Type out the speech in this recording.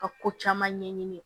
Ka ko caman ɲɛɲini